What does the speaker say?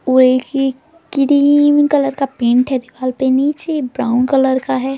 और ये एक क्रीम कलर का पेंट दीवाल पे नीचे ब्राउन कलर का है ।